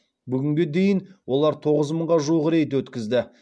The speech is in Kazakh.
бүгінге дейін олар тоғыз мыңға жуық рейд өткізді